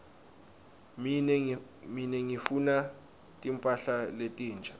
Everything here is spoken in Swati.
mine ngifuna timphahla letinsha